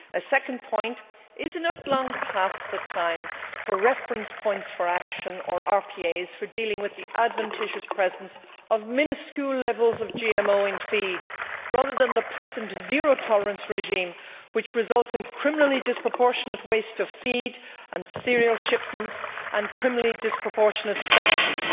Secondly, is it not long past the time for reference points for action, or RPAs, for dealing with the adventitious presence of minuscule levels of GMO in feed, rather than the present zero tolerance regime, which results in criminally disproportionate waste of feed and cereal shipments and criminally disproportionate sanctions?